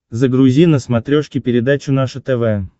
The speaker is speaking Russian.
загрузи на смотрешке передачу наше тв